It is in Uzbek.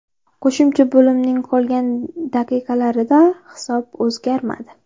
Qo‘shimcha bo‘limning qolgan daqiqalarida hisob o‘zgarmadi.